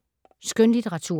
Skønlitteratur